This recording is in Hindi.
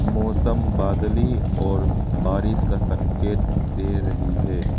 मौसम बादली और बारिश का संकेत दे रही है।